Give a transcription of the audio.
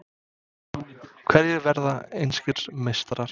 Hverjir verða enskir meistarar?